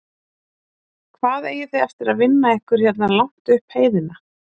Hvað eigið þið eftir að vinna ykkur hérna langt upp heiðina?